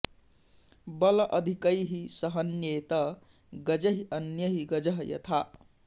बल अधिकैः स हन्येत गजैः अन्यैः गजः यथा